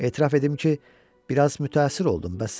Etiraf edim ki, biraz mütəəssir oldum, bəs sən?